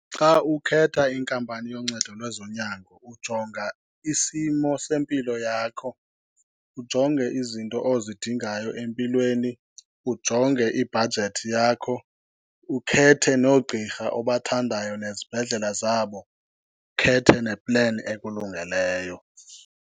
Xa ukhetha inkampani yoncedo lwezonyango ujonga isimo sempilo yakho, ujonge izinto ozidingayo empilweni, ujonge ibhajethi yakho, ukhethe noogqirha obathandayo nezibhedlela zabo, ukhethe ne-plan ekulungeleyo.